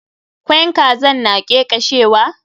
Kwain kazan na ƙeƙeshewa.